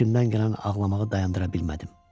İçimdən gələn ağlamağı dayandıra bilmədim.